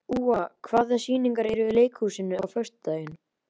Úa, hvaða sýningar eru í leikhúsinu á föstudaginn?